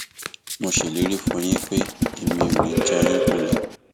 mo ṣèlérí fún yín pé èmi ò ní í já yín kulẹ